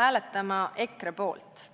hääletama EKRE poolt.